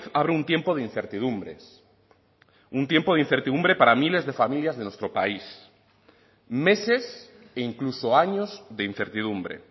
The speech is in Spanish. abre un tiempo de incertidumbres un tiempo de incertidumbre para miles de familias de nuestro país meses e incluso años de incertidumbre